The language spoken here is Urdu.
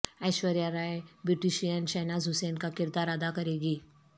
ایشوریہ رائے بیوٹیشن شہناز حسین کا کردار ادا کریں گی